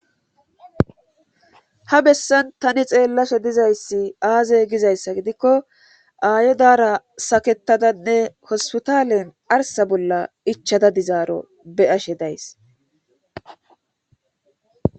Ha bessan tani xeellase dizayssi aaze gizayssa gidikko aayodara saketadanne hospitaalen arsa bolla ichada dizaaro be ashe days